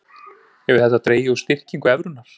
Hefur þetta dregið úr styrkingu evrunnar